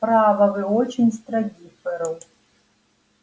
право вы очень строги ферл